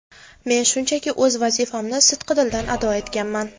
Men shunchaki o‘z vazifamni sidqidildan ado etganman.